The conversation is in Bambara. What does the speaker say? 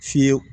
Fiyewu